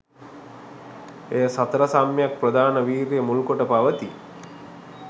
එය සතර සම්‍යක් ප්‍රධාන වීර්ය මුල්කොට පවතී.